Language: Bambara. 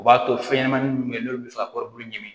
O b'a to fɛnɲɛnamanin minnu bɛ yen n'olu bɛ far'olu ɲini